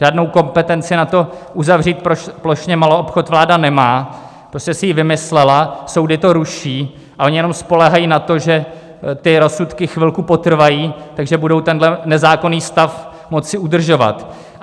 Žádnou kompetenci na to, uzavřít plošně maloobchod, vláda nemá, prostě si ji vymyslela, soudy to ruší a oni jenom spoléhají na to, že ty rozsudky chvilku potrvají, takže budou tenhle nezákonný stav moci udržovat.